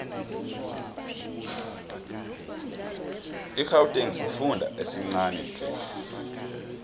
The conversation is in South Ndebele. igauteng sifunda esincanitle